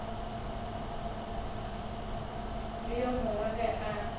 le yo mongwe ge a